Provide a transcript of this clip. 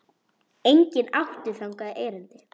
Enginn átti þangað erindi.